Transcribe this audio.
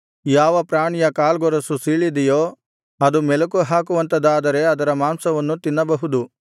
ಯಾವ ಪ್ರಾಣಿಯ ಕಾಲ್ಗೊರಸು ಸೀಳಿದೆಯೋ ಅದು ಮೆಲಕುಹಾಕುವಂಥದಾದರೆ ಅದರ ಮಾಂಸವನ್ನು ತಿನ್ನಬಹುದು